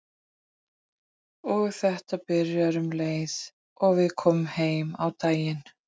Og þetta byrjar um leið og við komum heim á daginn.